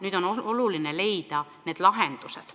Nüüd on oluline leida lahendused.